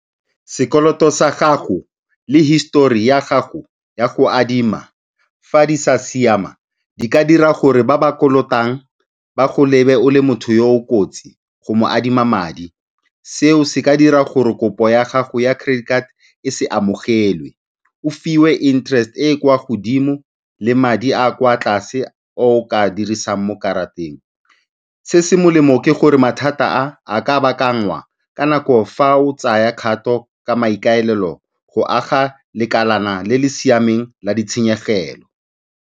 Sekoloto sa gago le histori ya gago ya go adima, fa di sa siama di ka dira gore ba ba kolotang ba go lebe o le motho yo o kotsi go mo adima madi. Seo se ka dira gore kopo ya gago ya credit card e se amogelwe, o fiwe interest e e kwa godimo le madi a a kwa tlase a o ka a dirisang mo karateng. Se se molemo ke gore mathata a, a ka baakanngwa ka nako ya fa o tsaya kgato ka maikaelelo a go aga lekalana le le siameng la ditshenyegelo.